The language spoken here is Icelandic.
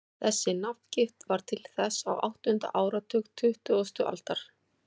Þessi nafngift varð til á áttunda áratug tuttugustu aldar.